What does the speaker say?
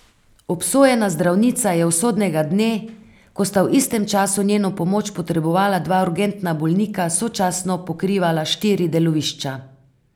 Obsojena zdravnica je usodnega dne, ko sta v istem času njeno pomoč potrebovala dva urgentna bolnika, sočasno pokrivala štiri delovišča.